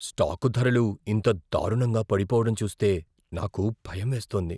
Stock ధరలు ఇంత దారుణంగా పడిపోవడం చూస్తే నాకు భయం వేస్తోంది.